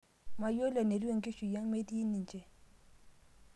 Mayiolo enetiu enkishui ang' metii ninje